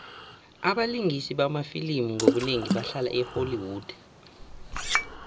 abalingisi bamafilimu ngobunengi bahlala e holly wood